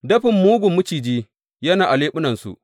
Dafin mugun maciji yana a leɓunansu.